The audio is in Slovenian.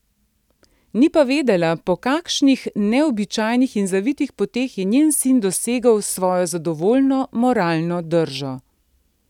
Ni pa vedela, po kakšnih neobičajnih in zavitih poteh je njen sin dosegel svojo zadovoljno moralno držo.